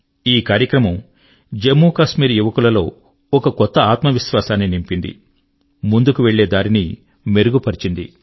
ఈ కార్యక్రమం జమ్ము కశ్మీర్ యువకుల లో ఒక కొత్త ఆత్మవిశ్వాసాన్ని నింపింది మరియు ముందుకు వెళ్ళే దారిని మెరుగు పరచింది